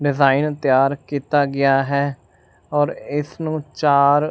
design ਤਿਆਰ ਕੀਤਾ ਗਿਆ ਹੈ ਔਰ ਇਸ ਨੂੰ ਚਾਰ--